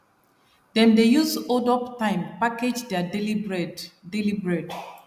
dem dey use holdup time package their daily bread daily bread